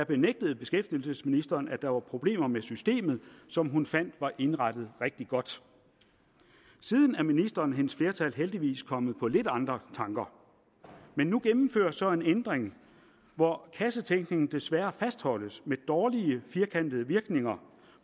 benægtede beskæftigelsesministeren at der var problemer med systemet som hun fandt var indrettet rigtig godt siden er ministeren og hendes flertal heldigvis kommet på lidt andre tanker men nu gennemføres så en ændring hvor kassetænkningen desværre fastholdes med dårlige firkantede virkninger